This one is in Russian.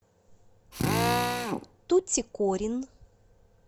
тутикорин